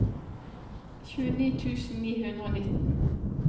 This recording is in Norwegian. tjueni tusen ni hundre og nitten